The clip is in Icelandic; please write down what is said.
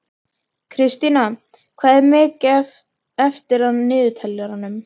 Kristína, hvað er mikið eftir af niðurteljaranum?